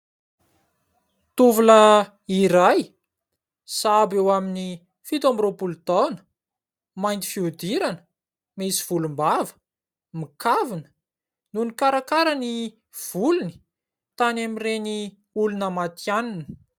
Tovolahy iray sahabo eo aminy fito amby roapolo taona, mainty fihodirana, misy volombava, mikavina no mikarakara ny volony tany amin'ireny olona matihanina.